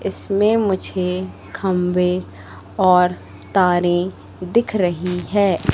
इसमें मुझे खम्भे और तारें दिख रही है।